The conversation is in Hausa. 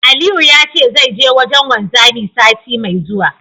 Aliyu ya ce zai je wajen wanzami, sati mai zuwa.